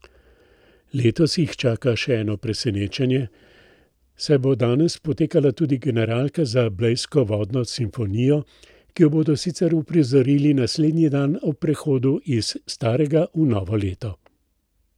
Letos jih čaka še eno presenečenje, saj bo danes potekala tudi generalka za blejsko vodno simfonijo, ki jo bodo sicer uprizorili naslednji dan ob prehodu iz starega v novo leto.